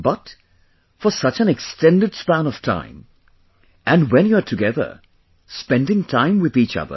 But, for such an extended span of time and when you are together, spending time with each other